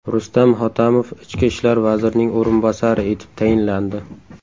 Rustam Hotamov Ichki ishlar vazirining o‘rinbosari etib tayinlandi.